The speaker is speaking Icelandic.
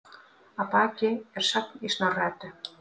Að baki er sögn í Snorra-Eddu